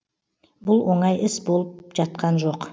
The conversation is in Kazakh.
бұл оңай іс болып жатқан жоқ